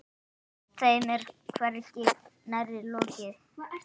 Þeim er hvergi nærri lokið.